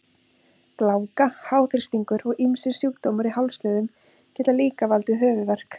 Gláka, háþrýstingur og ýmsir sjúkdómar í hálsliðum geta líka valdið höfuðverk.